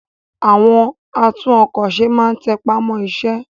àwọn àtún-ọkọ̀-se má n tẹpá mọ́ iṣẹ́